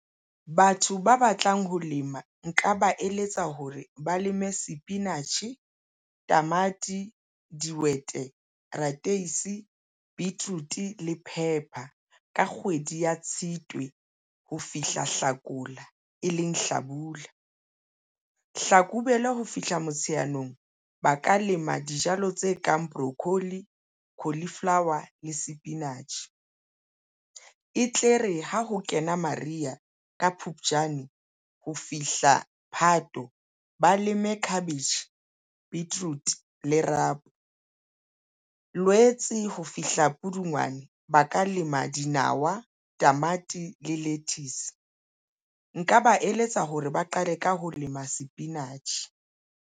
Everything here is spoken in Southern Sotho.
Batho ba batlang ho lema nka ba eletsa hore ba leme sepinatjhe, tamati, dihwete, rateisi, beetroot le phepha ka kgwedi ya Tshitwe ho fihla Hlakola e leng hlabula. Hlakubele ho fihla Motsheanong ba ka lema dijalo tse kang brokkoli, cauliflower le sepinatjhe e tle re ha ho kena mariha ka Phupjane ho fihla Phato, ba leme cabbage, beetroot le rapo. Lwetse ho fihla Pudungwane ba ka lema dinawa, tamati le lettuce nka ba eletsa hore ba qale ka ho lema sepinatjhe.